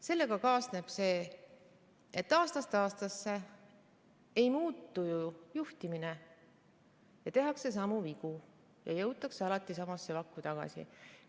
Sellega kaasneb see, et aastast aastasse juhtimine ei muutu, tehakse samu vigu ja jõutakse alati samasse vakku tagasi.